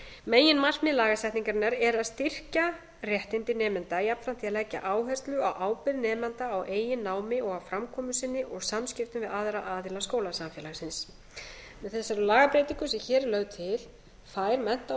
meginmarkmið lagasetningarinnar er að styrkja réttindi nemenda jafnframt því að leggja áherslu á ábyrgð nemenda á eigin námi og á framkomu sinni og samskiptum við aðra aðila skólasamfélagsins með þessari lagabreytingu sem hér er lögð til fær mennta og